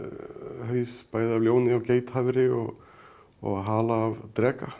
haus bæði af ljóni og og hala af dreka